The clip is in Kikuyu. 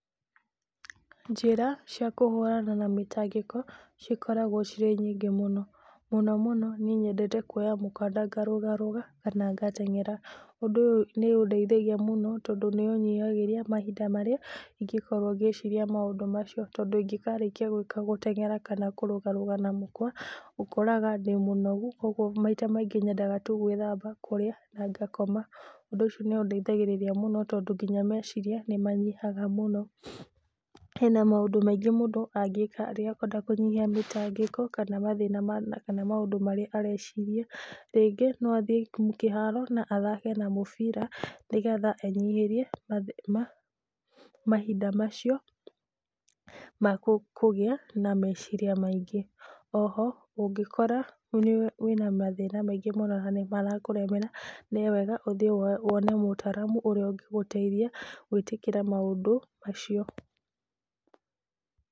Njĩra cia kũhũrana na mĩtangĩko cikoragwo cirĩ nyĩngĩ mũno, mũno mũno niĩ nyendete kuoya mũkanda ngarũgarũga kana ngateng'éra. Ũndũ ũyũ nĩ ũndeithagia mũno tondũ nĩ ũnyihagĩria mahĩnda marĩa ingĩkorwo ngĩ ĩcirĩa maũndũ macio tondũ ingĩkarĩkia gũteng'éra kana kũrũgarũga na mũkwa ũkoraga ndĩ mũnogũ kogwo maita maingĩ nyendaga tũ gũĩthamba, kũrĩa na nga koma. Ũndũ ũcio nĩ ũndeithagĩrĩria mũno tondũ nginya meciria nĩ manyihaga mũno. Hena maũndũ maingĩ mũndũ angĩka rĩrĩa ekwenda kũnyihia mĩtangĩko kana mathĩna ma kana maũndũ marĩa arecirĩa. Rĩngĩ no athie kĩharo na athake na mũbira nĩ getha enyiherie mahinda macio makũgĩa na meciria maingĩ. Oho ũngĩkora wĩna mathĩna maingĩ mũno na nĩ marakũremera nĩwega ũthie wone mũtaramũ ũrĩa ũngĩgũteithĩa gũĩtĩkĩra maũndũ macio